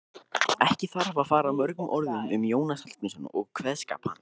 Ekki þarf að fara mörgum orðum um Jónas Hallgrímsson og kveðskap hans.